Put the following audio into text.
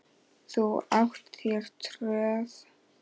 Þú átt þér tröð.